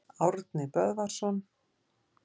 Árni Böðvarsson.